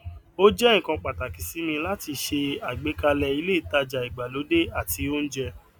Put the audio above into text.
ó jẹ nǹkan pàtàkì sí mi láti se àgbékalẹ ilé ìtaja ìgbàlódé àti oúnjẹ